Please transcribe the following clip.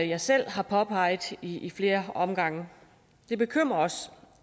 jeg selv har påpeget i i flere omgange det bekymrer os